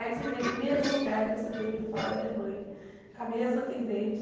Aí sentei no mesmo lugar que eu sentei para falar da minha mãe, com a mesma atendente.